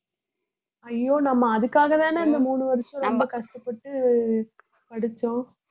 ஐயோ நம்ம அதுக்காகதானே இந்த மூணு வருஷம் ரொம்ப கஷ்டப்பட்டு படிச்சோம்